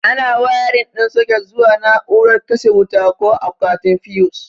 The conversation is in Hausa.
Ana wayarin ɗin soket zuwa na'urar katse wuta ko akwatin fiyus.